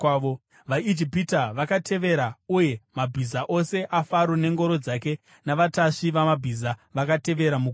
VaIjipita vakavatevera, uye mabhiza ose aFaro nengoro dzake navatasvi vamabhiza vakatevera mugungwa.